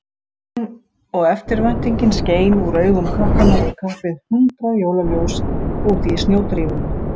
Gleðin og eftirvæntingin skein úr augum krakkanna í kapp við hundrað jólaljós úti í snjódrífunni.